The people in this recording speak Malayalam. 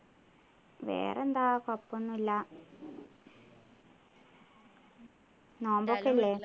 വേറെന്താ കൊഴപ്പോന്നും ഇല്ല നോമ്പൊക്കെ അല്ലെ